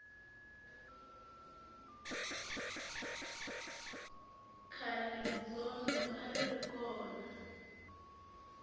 khale rizondho a ri ri kona